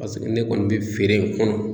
Paseke ne kɔni bɛ feere in kɔnɔ.